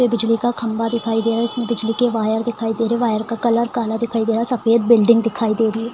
ये बिजली का खंबा दिखाई दे रहा है। इसमें बिजली के वायर दिखाई दे रहे। वायर का कलर काला दिखाई दे रहा है। सफ़ेद बिल्डिंग दिखाई दे रही --